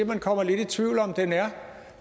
man kommer lidt i tvivl om om den er